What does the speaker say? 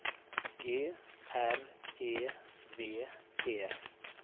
G R E V E